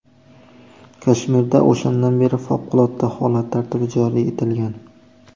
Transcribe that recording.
Kashmirda o‘shandan beri favqulodda holat tartibi joriy etilgan.